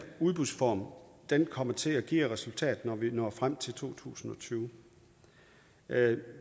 udbudsform kommer til at give af resultat når vi når frem til to tusind og tyve